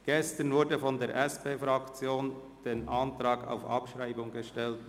Gestern wurde von der SP-JUSO-PSAFraktion der Antrag auf Abschreibung gestellt.